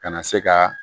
Kana se ka